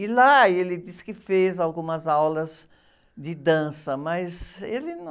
E lá ele disse que fez algumas aulas de dança, mas ele não...